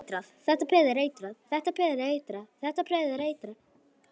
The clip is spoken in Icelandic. Þetta peð er eitrað.